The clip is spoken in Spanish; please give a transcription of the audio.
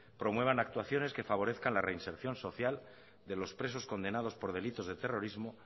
promuevan actuaciones que favorezcan la reinserción social de los presos condenados por delitos de terrorismo